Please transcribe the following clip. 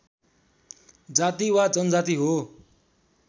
जाति वा जनजाति हो